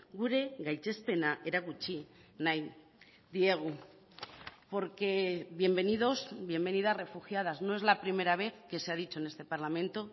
gure gaitzespena erakutsi nahi diegu porque bienvenidos bienvenidas refugiadas no es la primera vez que se ha dicho en este parlamento